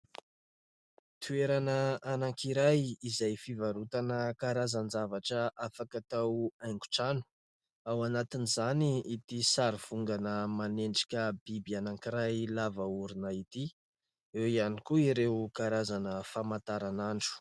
Toerana anankiray izay fivarotana karazan-javatra afaka atao haingon-trano. Ao anatin'izany ity sary vongana manendrika biby anankiray lava orona ity ; eo ihany koa ireo karazana famataran'andro.